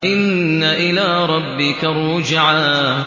إِنَّ إِلَىٰ رَبِّكَ الرُّجْعَىٰ